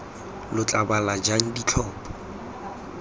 lo tla bala jang ditlhopho